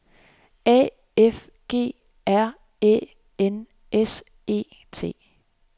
A F G R Æ N S E T